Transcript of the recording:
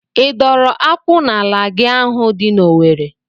I dọrọ akwụ n'ala gị ahụ dị n'Owere?